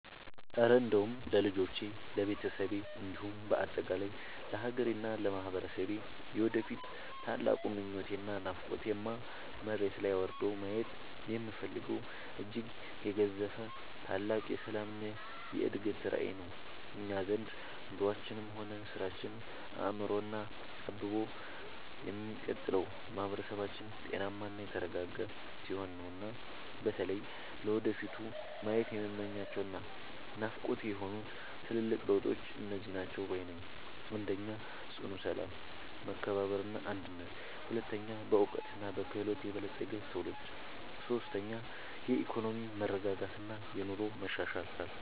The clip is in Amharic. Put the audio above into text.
እረ እንደው ለልጆቼ፣ ለቤተሰቤ እንዲሁም በአጠቃላይ ለሀገሬና ለማህበረሰቤ የወደፊት ትልቁ ምኞቴና ናፍቆቴማ፣ መሬት ላይ ወርዶ ማየት የምፈልገው እጅግ የገዘፈ ታላቅ የሰላምና የእድገት ራዕይ ነው! እኛ ዘንድ ኑሯችንም ሆነ ስራችን አምሮና አብቦ የሚቀጥለው ማህበረሰባችን ጤናማና የተረጋጋ ሲሆን ነውና። በተለይ ለወደፊቱ ማየት የምመኛቸውና ናፍቆቴ የሆኑት ትልልቅ ለውጦች እነዚህ ናቸው ባይ ነኝ፦ 1. ጽኑ ሰላም፣ መከባበርና አንድነት 2. በዕውቀትና በክህሎት የበለፀገ ትውልድ 3. የኢኮኖሚ መረጋጋትና የኑሮ መሻሻል